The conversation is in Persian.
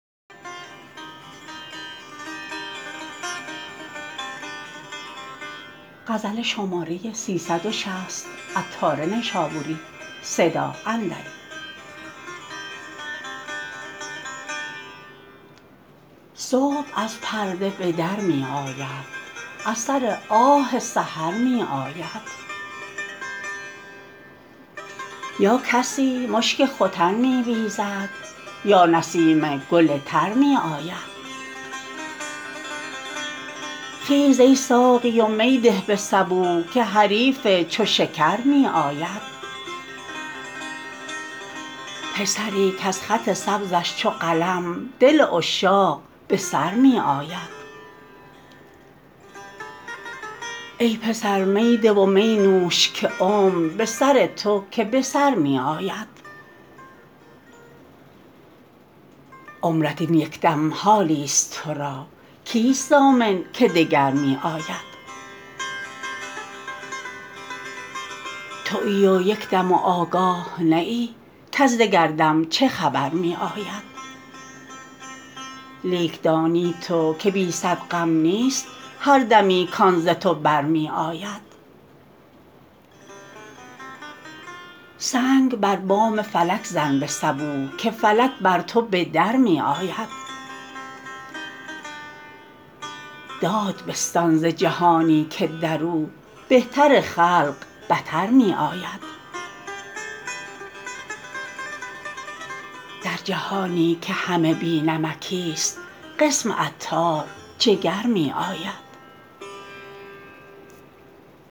صبح از پرده به در می آید اثر آه سحر می آید یا کسی مشک ختن می بیزد یا نسیم گل تر می آید خیز ای ساقی و می ده به صبوح که حریف چو شکر می آید پسری کز خط سبزش چو قلم دل عشاق به سر می آید ای پسر می ده و می نوش که عمر به سر تو که به سر می آید عمرت این یکدم حالی است تو را کیست ضامن که دگر می آید تویی و یکدم و آگاه نه ای کز دگر دم چه خبر می آید لیک دانی تو که بی صد غم نیست هر دمی کان ز تو بر می آید سنگ بر بام فلک زن به صبوح که فلک بر تو به در می آید داد بستان ز جهانی که درو بهتر خلق بتر می آید در جهانی که همه بی نمکی است قسم عطار جگر می آید